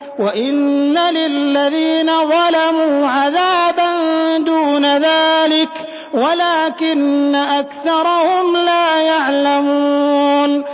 وَإِنَّ لِلَّذِينَ ظَلَمُوا عَذَابًا دُونَ ذَٰلِكَ وَلَٰكِنَّ أَكْثَرَهُمْ لَا يَعْلَمُونَ